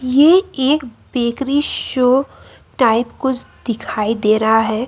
ये एक bakery shop type कुछ दिखाई दे रहा हे।